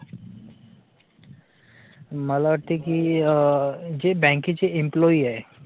मला वाटते कि जे बँकेचे employee आहे